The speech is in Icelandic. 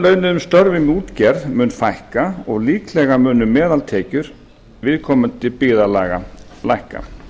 vellaunuðum störfum í útgerð mun fækka og líklega munu meðaltekjur viðkomandi byggðarlaga lækka